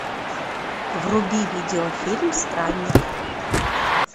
вруби видео фильм странник